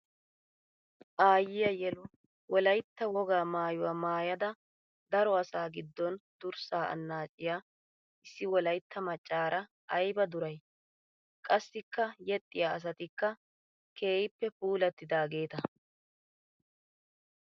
Ayiya yelu! Wolaytta wogaa maayuwa maayada daro asaa gidon durssa ancciya issi wolaytta macaara aybba duray! Qassikka yexiya asattikka keehippe puulattidaagetta.